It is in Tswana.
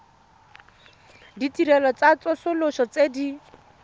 ditirelo tsa tsosoloso tse di